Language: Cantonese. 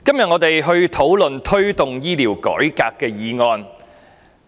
我們今天討論題為"推動醫療改革"的議案。